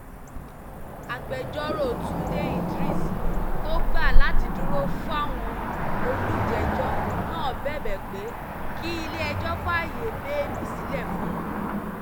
agbẹjọ́rò túnde idris tó gbà láti dúró fáwọn olùjẹ́jọ́ náà bẹ̀bẹ̀ pé kílẹ̀-ẹjọ́ fàáyé bẹ́ẹ́lí sílẹ̀ fún wọn